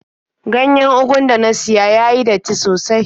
Ganyen ugun da na siya ya yi datti sosai.